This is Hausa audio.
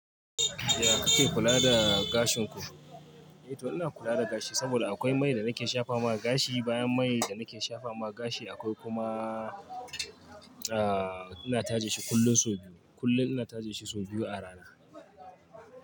Ya kake kula da gashin ku? Eh to ina kula da gashi saboda akwai mai da nake shafa ma gashi bayan mai da nake shafa ma gashi akwai kuma a ina taje shi kullum sau biyu kullum ina taje shi sau biyu a rana.